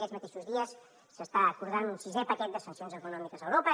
aquests mateixos dies s’està acordant un sisè paquet de sancions econòmiques a europa